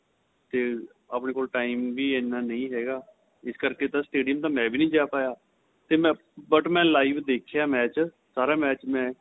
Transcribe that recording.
ਤੇ ਆਪਣੇਂ ਕੋਲ time ਵੀ ਐਨਾ ਨਹੀਂ ਹੈਗਾ ਇਸ ਕਰਕੇ ਤਾਂ stadium ਮੈਂਵੀ ਨਹੀਂ ਜਾਂ ਪਾਇਆ ਤੇ ਮੈਂ but ਮੈਂ live ਦੇਖਿਆ match ਸਾਰਾ match ਮੈਂ